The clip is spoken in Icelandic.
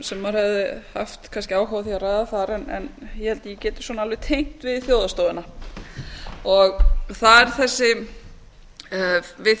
maður hefði kannski haft áhuga á að ræða þar en ég held að ég geti alveg tengt við þjóðhagsstofuna við